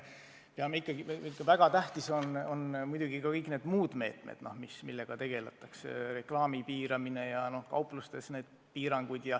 Väga tähtsad on muidugi ka kõik need muud meetmed, millega tegeldakse: reklaami piiramine ja kauplustes müügipiirangud.